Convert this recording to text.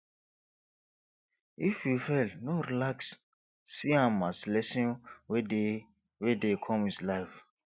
if you fail no relax see am as lesson wey dey wey dey come with life